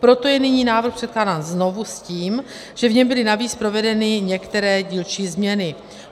Proto je nyní návrh předkládán znovu s tím, že v něm byly navíc provedeny některé dílčí změny.